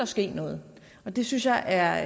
ske noget og det synes jeg er